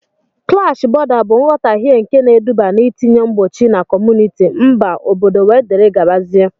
Klash bọ̀da bụ nghotahie nke na-eduba n'itinye mgbochi na kọmunịti, mba, obodo wdgz